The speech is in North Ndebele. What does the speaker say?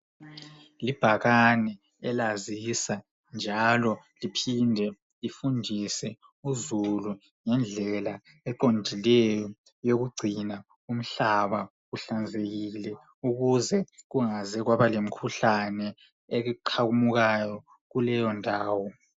Libhakane elazisa njalo liphinde lifundise uzulu ngendlela eqondileyo yokugcina umhlaba uhlanzekile ukuze kungaze kwaba lemkhuhlane eqhamukayo kuleyo ndawo .